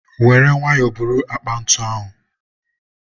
were nwayọ buru akpa ntu ahụ